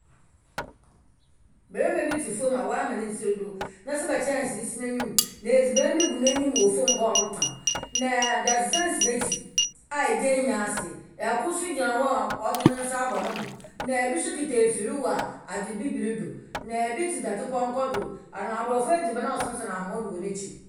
Bɛrima bi tse fom a wama ne tsir do, na silba kyɛnsee si n'enyim. Na edziban bi gu n'anyim wɔ fɔm hɔ ɔretɔn. Na dadzesɛn si n'ekyir a egya nyi ase. Ɛkor so gyina hɔ a ɔdze nensa abɔ nebo. Na ebi so kita efiri wɔ adze bibiri do. Na ebi tse dadepɔnkɔ do, na aborɔfo edziban a ɔsensɛn ahoma do wɔ n'ekyir.